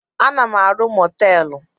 Ana m arụ mọtelụ.